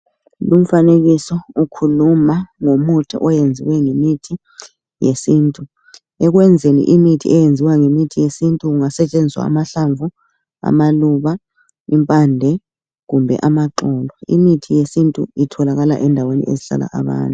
Lumfanekiso ukhuluma ngomuthi oyenziwe ngemithi yesintu, ekwenzeni imithi eyenziwa ngemithi yesintu kungasetshenziswa amahlamvu, amaluba, impande kumbe amaxolo imithi yesintu itholakala endaweni ezihlala abantu.